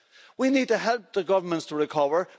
We need to help the governments to recover.